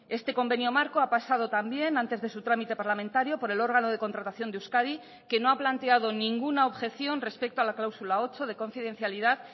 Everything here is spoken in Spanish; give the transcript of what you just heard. este convenio marco ha pasado también antes de su trámite parlamentario por el órgano de contratación de euskadi que no ha planteado ninguna objeción respecto a la cláusula ocho de confidencialidad